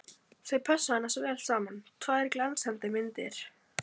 Þau pössuðu annars vel saman, tvær glansmyndir!